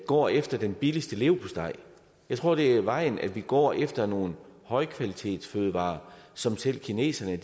går efter den billigste leverpostej jeg tror det er vejen at vi går efter nogle højkvalitetsfødevarer som selv kineserne